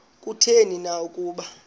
kutheni na ukuba